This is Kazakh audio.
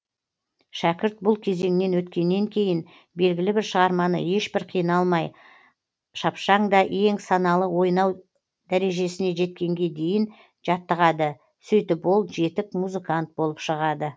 шәкірт бұл кезеңнен өткеннен кейін белгілі бір шығарманы ешбір қиналмай шапшаң да ең саналы ойнау дәрежесіне жеткенге дейін жаттығады сөйтіп ол жетік музыкант болып шығады